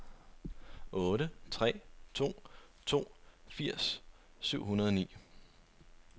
otte tre to to firs syv hundrede og ni